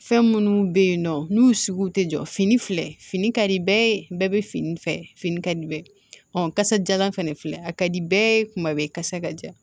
Fɛn minnu bɛ yen nɔ n'u sugu tɛ jɔ fini filɛ fini ka di bɛɛ ye bɛɛ bɛ fini fɛ fini ka di bɛɛ kasadiyalan fɛnɛ filɛ a ka di bɛɛ ye kuma bɛɛ kasa ka ja